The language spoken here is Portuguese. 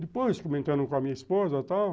Depois, comentando com a minha esposa e tal.